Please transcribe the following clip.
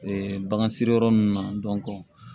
Ee bagan siri yɔrɔ ninnu na